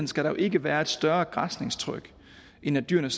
skal der jo ikke være et større græsningstryk end at dyrene